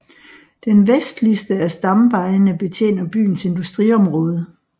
Den vestligste af stamvejene betjener byens industriområde